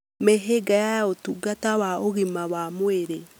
Mĩhĩnga ya ũtungata wa ũgima wa mwĩrĩ